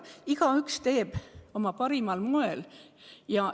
Igaüks teeb oma tööd parimal võimalikul moel.